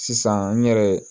Sisan n yɛrɛ